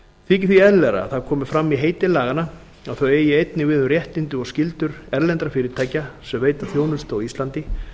þykir því eðlilegra að það komi fram í heiti laganna að þau eigi einnig við um réttindi og skyldur erlendra fyrirtækja sem veita þjónustu á íslandi